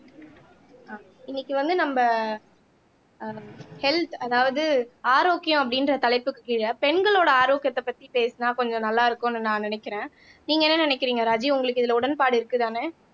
இன்னைக்கு வந்து நம்ப ஆஹ் ஹெல்த் அதாவது ஆரோக்கியம் அப்படின்ற தலைப்புக்கு கீழே பெண்களோட ஆரோக்கியத்தை பத்தி பேசுனா கொஞ்சம் நல்லா இருக்கும்னு நான் நினைக்கிறேன் நீங்க என்ன நினைக்கிறீங்க ராஜி உங்களுக்கு இதுல உடன்பாடு இருக்குதானே